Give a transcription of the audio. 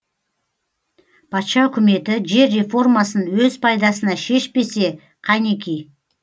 патша үкіметі жер реформасын өз пайдасына шешпесе қанеки